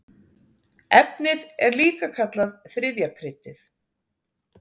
Efnið er líka kallað þriðja kryddið.